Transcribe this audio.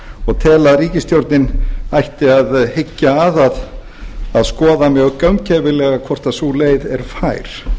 og tel að ríkisstjórnin ætti að hyggja að að skoða mjög gaumgæfilega hvort sú leið er fær